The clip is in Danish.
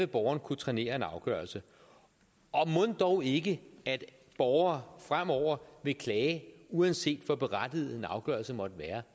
borgerne kunne trænere en afgørelse og mon dog ikke at borgere fremover vil klage uanset hvor berettiget en afgørelse måtte være